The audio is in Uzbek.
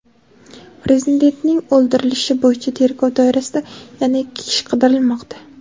Prezidentning o‘ldirilishi bo‘yicha tergov doirasida yana ikki kishi qidirilmoqda.